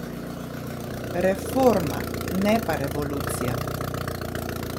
Reforma, ne pa revolucija.